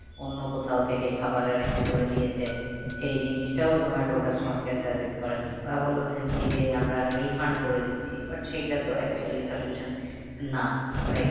অন্য কোথাও থেকে খাবার arrange করে দিয়েছে। সেই জিনিসটাও জোমাটো customer care service করেনি। ওরা বললো simply যে আমরা refund করে দিচ্ছি but সেইটা তো actually solution না right